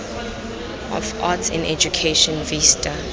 of arts in education vista